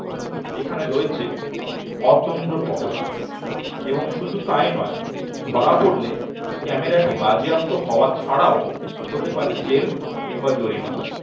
এখানে রয়েছে অতন্দ্র পহড়া এবং শুধু তাই নয় ধরা পড়লে কিন্তু ক্যামেরাটি বাজেয়াপ্ত হওয়া ছাড়াও হতে পারে জেল কিংবা জরিমানা